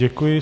Děkuji.